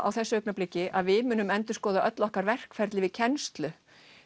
á þessu augnabliki að við munum endurskoða öll okkar verkferli við kennslu